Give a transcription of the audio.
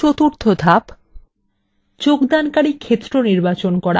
চতুর্থ ধাপ যোগদানকারী ক্ষেত্র নির্বাচন করা